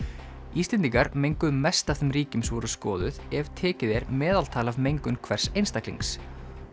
Íslendingar menguðu mest af þeim ríkjum sem voru skoðuð ef tekið er meðaltal af mengun hvers einstaklings